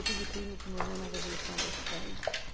Eu tive primo que morreu na Revolução da Espanha.